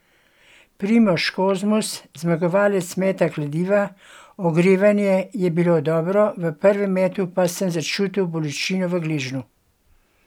Primož Kozmus, zmagovalec meta kladiva: "Ogrevanje je bilo dobro, v prvem metu pa sem začutil bolečino v gležnju.